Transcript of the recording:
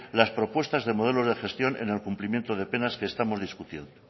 las propuestas de modelo de gestión en el cumplimiento de penas que estamos discutiendo